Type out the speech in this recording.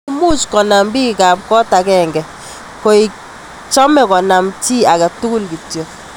Much ko nam pikk ap kot agenge, kaek cham ko namche chi agei tugul kityo.